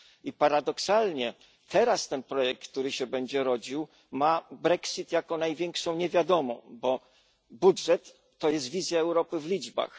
I paradoksalnie teraz ten projekt, który się będzie rodził ma Brexit jako największą niewiadomą, bo budżet to jest wizja Europy w liczbach.